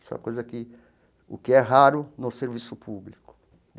Isso é uma coisa que o que é raro no serviço público.